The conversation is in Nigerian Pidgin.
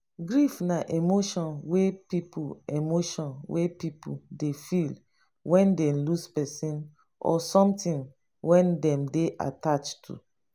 grief na emotion wey pipo emotion wey pipo dey feel when dey lose person or something wey dem attached to